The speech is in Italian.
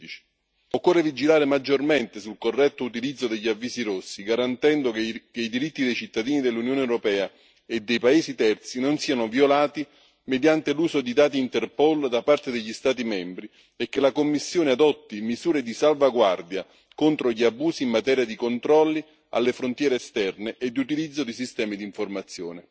2016. Occorre vigilare maggiormente sul corretto utilizzo degli avvisi rossi, garantendo che i diritti dei cittadini dell'Unione europea e dei paesi terzi non siano violati mediante l'uso di dati Interpol da parte degli Stati membri e che la Commissione adotti misure di salvaguardia contro gli abusi in materia di controlli alle frontiere esterne e di utilizzo di sistemi d'informazione.